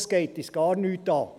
es geht uns gar nichts an.